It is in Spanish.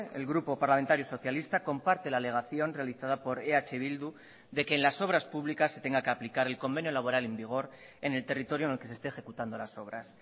el grupo parlamentario socialista comparte la alegación realizada por eh bildu de que en las obras públicas se tenga que aplicar el convenio laboral en vigor en el territorio en el que se esté ejecutando las obras